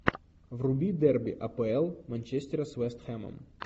вруби дерби апл манчестера с вест хэмом